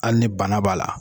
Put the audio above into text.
Hali ni bana b'a la